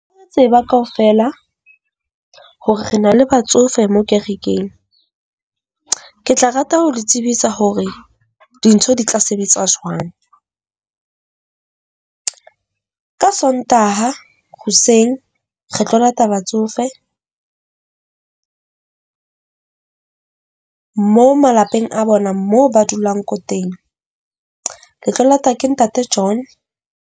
O tseba kaofela hore re na le batsofe mo kerekeng, ke tla rata ho le tsebisa hore dintho di tla sebetsa jwang. Ka Sontaha hoseng re tlo lata batsofe, mo malapeng a bona moo ba dulang ko teng, le tlo lata ke ntate John.